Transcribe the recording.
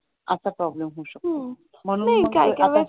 असा प्रॉब्लेम होऊ शकतो नाही